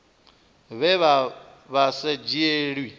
vhe vha vha sa dzhielwi